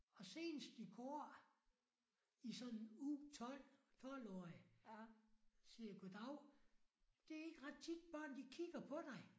Og senest i går i sådan U12 12 årige siger jeg goddav det ikke ret tit børn de kigger på dig